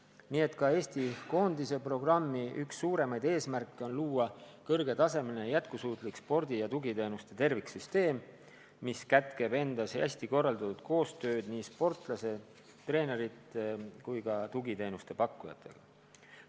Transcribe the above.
Nii et ka Eesti koondise programmi suurimaid eesmärke on luua kõrgetasemeline jätkusuutlik spordi ja tugiteenuste terviksüsteem, mis kätkeb endas hästi korraldatud koostööd nii sportlastele, treeneritele kui ka tugiteenuste pakkujatele.